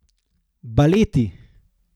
Baleti.